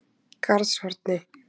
Garðshorni